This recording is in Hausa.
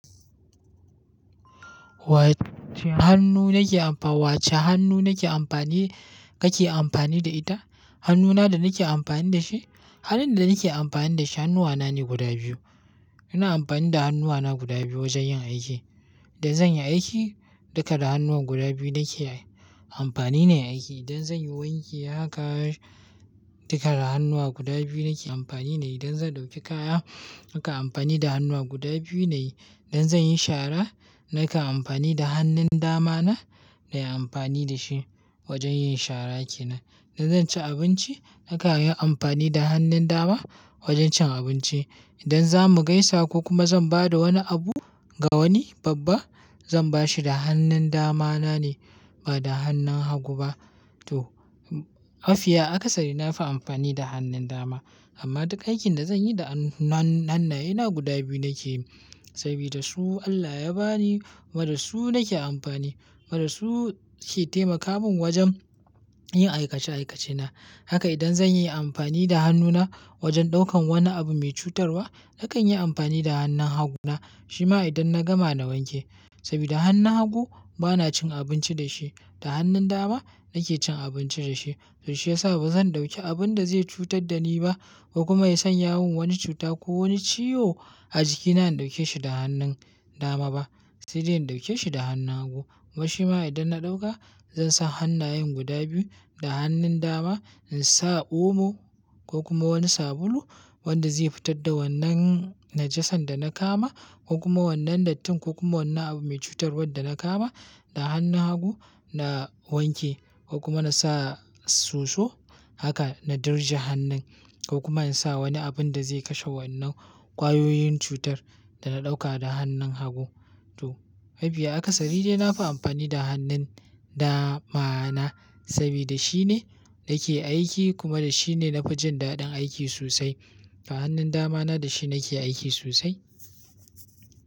Wacce hannu nake amfa-- wacce hannu nake amfani, kake amfani da ita? Hannuna da nake amfani da shi, hannun da nake amfani da shi hannuwana ne guda biyu. Ina amfani da hannuwana guda biyu wajen yin aiki. Idan zan yi aiki, duka da hannuwan guda biyu nake amfani na yi aiki. Idan zan yi wanki, haka duka da hannuwa guda biyu nake amfani na yi. Idan zan ɗauki kaya, haka amfani da hannuwa guda biyu na yi. Idan zan yi shara, naka amfani da hannun dama na, na yi amfani da shi wajen yin shara kenan. Idan zan ci abinci, naka yi amfani da hannun dama wajen cin abinci. Idan za mu gaisa ko kuma zan ba da wani abu ga wani babba, zan bashi da hannun dama na ne ba da hannun hagu ba. To, mafiya akasari na fi amfani da hannun dama. Amma duka aikin da zan yi da hannayena guda biyu nake yi. Sabida su Allah ya ba ni, kuma dasu nake amfani. Kuma dasu ke taimaka min wajen yin aikace-aikacena. Haka idan zan yi amfani da hannuna wajen ɗaukan wani abu mai cutarwa, nakan yi amfani da hannun hagu na. Shi ma idan na gama na wanke. Saboda hannun hagu bana cin abinci da shi. Da hannun dama nake cin abinci da shi. To shi ya sa bazan ɗauki abun da zai cutar da ni ba ko kuma ya sanya min wani cuta ko wani ciyo a jikina in ɗauke shi da hannun dama ba. Sai dai in ɗauke shi da hannun hagu. Kuma shi ma idan na ɗauka, zan sa hannayen guda biyu da hannun dama in sa omo ko kuma wani sabulu wanda zai fitar da wannan najasan da na kama ko kuma wannan dattin ko kuma wannan abu mai cutarwa da na kama. Da hannun hagu na wanke ko kuma na sa soso haka na dirje hannun ko kuma in sa wani abun da zai kashe wannan kwayoyin cutar da na ɗauka da hannun hagu. To, mafiya akasari dai na fi amfani da hannun dama na. Saboda shine nake aiki kuma da shine na fi jin daɗin aiki sosai. Da hannun dama na da shi nake aiki sosai.